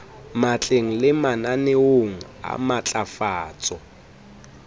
matleng le mananeong a matlafatso